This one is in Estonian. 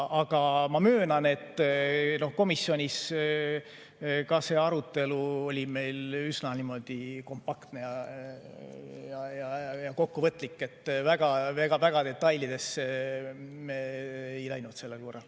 Aga ma möönan, et komisjonis see arutelu oli üsna kompaktne ja kokkuvõtlik, väga detailidesse me ei läinud sellel korral.